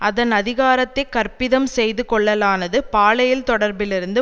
அதன் அதிகாரத்தை கற்பிதம் செய்து கொள்ளலானது பாலியல் தொடர்பிலிருந்து